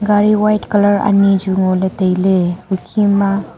gari white colour ani juw ngo ley tailey hukhe ma.